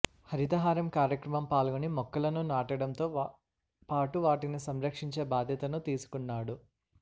హరితహారం కార్యక్రమం పాల్గొని మొక్కలను నాటడంతో పాటు వాటిని సంరక్షించే బాధ్యతను తీసుకున్నాడు